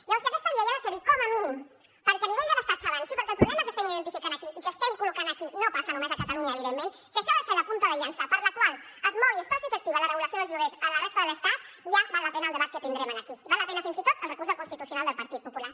llavors si aquesta llei ha de servir com a mínim perquè a nivell de l’estat s’avanci perquè el problema que estem identificant aquí i que estem col·locant aquí no passa només a catalunya evidentment si això ha de ser la punta de llança per la qual es mogui i es faci efectiva la regulació dels lloguers a la resta de l’estat ja val la pena el debat que tindrem aquí val la pena fins i tot el recurs al constitucional del partit popular